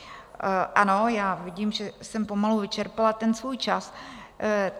Ano, já vidím, že jsem pomalu vyčerpala ten svůj čas.